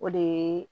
O de ye